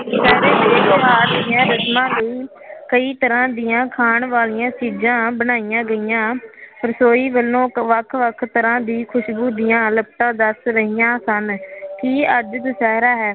ਕਈ ਤਰਾਂ ਦੀਆਂ ਖਾਣ ਵਾਲਿਆਂ ਚੀਜਾਂ ਬਣਾਇਆ ਗਇਆ ਰਸੋਈ ਵਲੋਂ ਵੱਖ ਵੱਖ ਤਰਾ ਦੀ ਖੁਸ਼ਬੂ ਦੀਆ ਲੱਪਟਾ ਦੱਸ ਰਹਿਆ ਸਨ ਕੀ ਅੱਜ ਦੁਸਹਿਰਾ ਹੈ